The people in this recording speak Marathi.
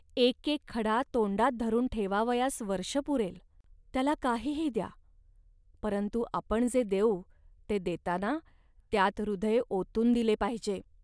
एकेक खडा तोंडात धरून ठेवावयास वर्ष पुरेल. त्याला काहीही द्या, परंतु आपण जे देऊ ते देताना त्यात हृदय ओतून दिले पाहिजे